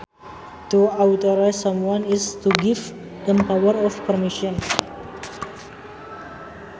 To authorise someone is to give them power or permission